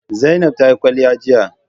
Zainab ta yi kwalliya jiya